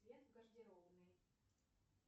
свет в гардеробной